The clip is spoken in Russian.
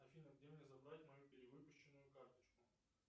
афина где мне забрать мою перевыпущенную карточку